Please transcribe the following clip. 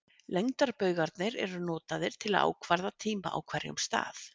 Lengdarbaugarnir eru notaðar til að ákvarða tíma á hverjum stað.